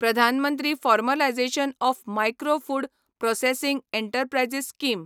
Pradhan Mantri formalisation of micro food processing enterprises scheme